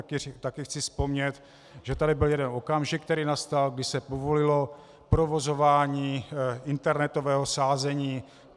A také chci vzpomenout, že tady byl jeden okamžik, který nastal, když se povolilo provozování internetového sázení.